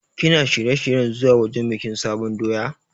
Kana shirye-shiryen zuwa wajen bikin sabon doya?